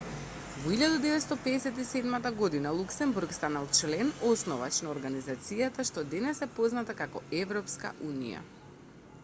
во 1957 година луксембург стана член основач на организацијата што денес е позната како европска унија